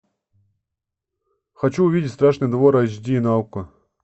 хочу увидеть страшный двор айч ди на окко